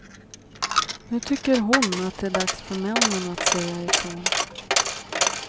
Nu tycker hon att det är dags för männen att säga ifrån.